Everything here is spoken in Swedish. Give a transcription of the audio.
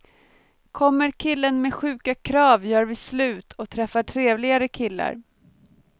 Kommer killen med sjuka krav gör vi slut och träffar trevligare killar.